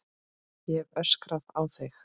Ég hef öskrað á þig!